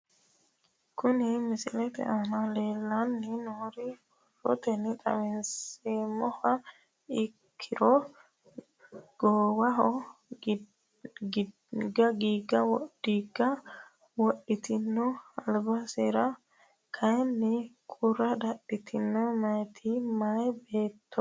Kuni misilete aana leelanni nooere borotenni xawisumoha ikkiro gowaaho diiga wodhitinoti albisira kayinni qura dadhitinoti mitte mayi beeto leeltanni nooe